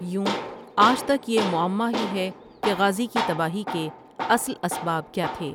یوں آج تک یہ معمہ ہی ہے کہ غازی کی تباہی کے اصل اسباب کیا تھے ۔